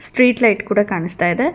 Street light ಕೂಡ ಕಾಣುಸ್ತಾ ಇದೆ.